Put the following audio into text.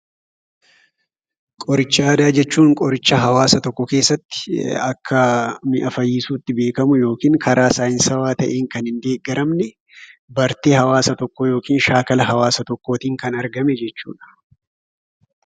Qoricha aadaa jechuun qoricha hawaasa tokko keessatti akka mi'a fayyisuutti beekamu, yookiin karaa saayinsawwaa ta'een kan hin deeggaraamne bartee hawaasa tokkoo yookiin shaakala hawaasa tokkootiin kan argame jechuudha.